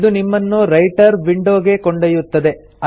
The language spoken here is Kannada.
ಇದು ನಿಮ್ಮನ್ನು ರೈಟರ್ ವಿಂಡೊ ಗೆ ಕೊಂಡೊಯ್ಯುತ್ತದೆ